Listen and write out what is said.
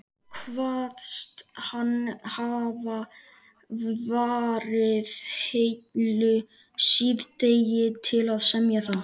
Kvaðst hann hafa varið heilu síðdegi til að semja það.